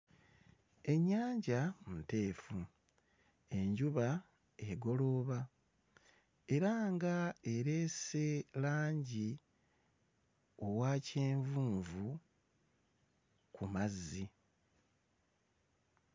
Ennyanja nteefu, enjuba egolooba era nga ereese langi owa kyenvunvu ku mazzi.